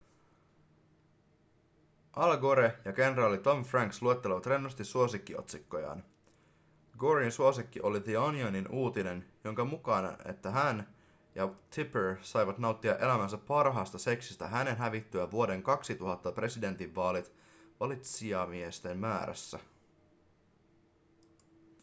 al gore ja kenraali tommy franks luettelevat rennosti suosikkiotsikkojaan goren suosikki oli the onionin uutinen jonka mukaan että hän ja tipper saivat nauttia elämänsä parhaasta seksistä hänen hävittyään vuoden 2000 presidentinvaalit valitsijamiesten määrässä